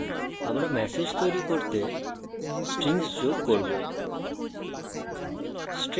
এখন আমরা ম্যাসেজ তৈরী করতে strings যোগ করব